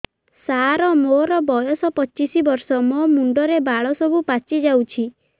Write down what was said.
ସାର ମୋର ବୟସ ପଚିଶି ବର୍ଷ ମୋ ମୁଣ୍ଡରେ ବାଳ ସବୁ ପାଚି ଯାଉଛି